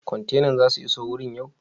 Kwantenan za su iso wurin yau?